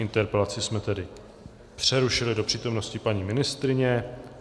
Interpelaci jsme tedy přerušili do přítomnosti paní ministryně.